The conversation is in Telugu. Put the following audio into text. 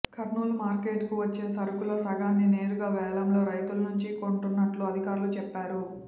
కర్నూలు మార్కెట్కు వచ్చే సరుకులో సగాన్ని నేరుగా వేలంలో రైతుల నుంచి కొంటున్నట్లు అధికారులు చెప్పారు